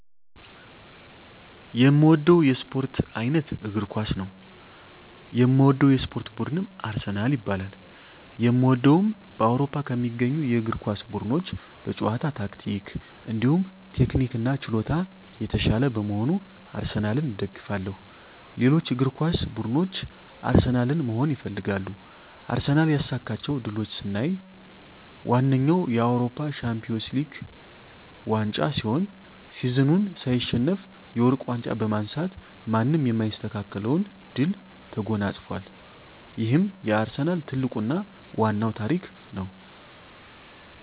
የእምወደዉ የእስፖርት አይነት እግር ኳስ ነዉ። የምደግፈዉ የእስፖርት ቡድንም አርሰናል ይባላል። የእምደግፈዉም በአዉሮፖ ከሚገኙ የእግር ኳስ ቡድኖች በጨዋታ ታክቲክ እንዲሁም ቴክኒክና ችሎታ የታሻለ በመሆኑ አርሰናልን እደግፋለሁ። ሌሎች እግር ኳስ ብድኖች አርሰናልን መሆን ይፈልጋሉ። አርሰናል ያሳካቸዉ ድሎች ስናይ ዋነኛዉ የአዉሮፖ ሻንፒወንስ ሊግ ዋንጫ ሲሆን ሲዝኑን ሳይሸነፍ የወርቅ ዋንጫ በማንሳት ማንም የማይስተካከለዉን ድል ተጎናፅፋል ይሄም የአርሰናል ትልቁና ዋናዉ ታሪክ ነዉ።